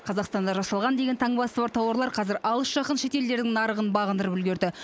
қазақстанда жасалған деген таңбасы бар тауарлар қазір алыс жақын шетелдердің нарығын бағындырып үлгерді